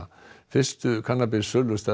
fyrstu kannabis